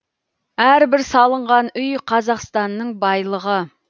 әрбір салынған үй қазақстанның байлығы